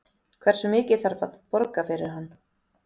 Hversu mikið þarf að borga fyrir hann?